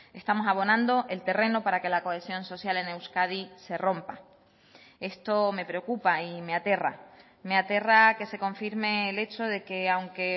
estamos abonando el terreno para que la cohesión social en euskadi se rompa esto me preocupa y me aterra me aterra que se confirme el hecho de que aunque